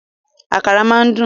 Àkàrà máa ń dùn